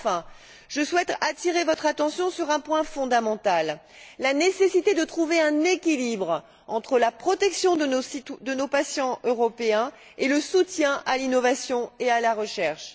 Enfin, je souhaite attirer votre attention sur un point fondamental la nécessité de trouver un équilibre entre la protection de nos patients européens et le soutien à l'innovation et à la recherche.